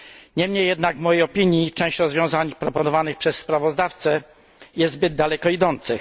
Niemniej jednak w mojej opinii część rozwiązań proponowanych przez sprawozdawcę jest zbyt daleko idących.